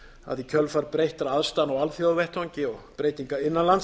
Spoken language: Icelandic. að í kjölfar breyttra aðstæðna á alþjóðavettvangi og breytinga innan lands